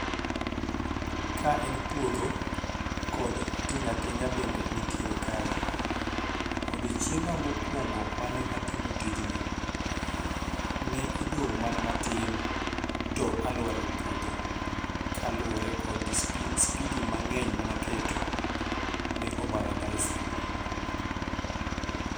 Ka en puodho kod tinga tinga bende nitiere kae. Odiechienga mokwongo mane atimo tijni, ne odong' mana matin to alwar e puodho. Kaluwore kod speed, speedy mang'eny mane aketo. Ne obara ndasi.